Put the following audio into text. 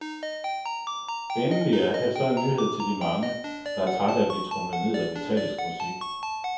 Endelig er her så en nyhed til de mange, der er trætte af at blive tromlet ned af metallisk musik.